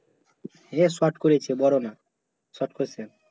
সে short করেছে বড় না short question